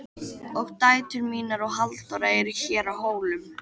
Og dætur mínar og Halldóra eru hér á Hólum.